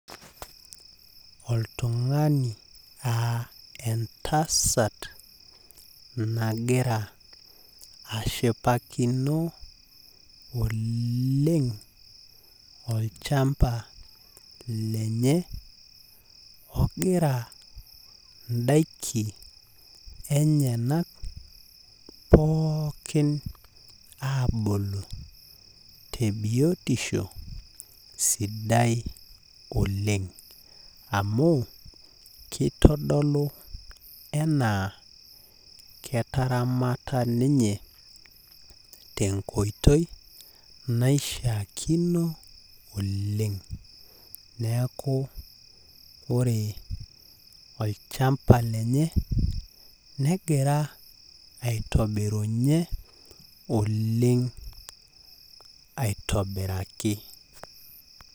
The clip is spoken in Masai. Oltung'ani aa entasat nagira ashipakino oleng olchamba lenye, ogira idaiki enyanak pookin abulu, tebiotisho sidai oleng. Amu kitodolu enaa ketaramata ninye tenkoitoi naishaakino oleng. Neeku, ore olchamba lenye, negira aitobirunye oleng aitobiraki.